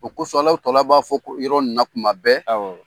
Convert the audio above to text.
O kosɔn tɔ b'a fɔ ko yɔrɔ in na kuma bɛɛ, awɔ.